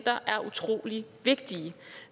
ikke